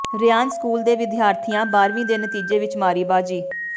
Ryan school ਦੇ ਵਿਦਿਆਰਥੀਆਂ ਬਾਰ੍ਹਵੀਂ ਦੇ ਨਤੀਜੇ ਵਿਚ ਮਾਰੀ ਬਾਜ਼ੀ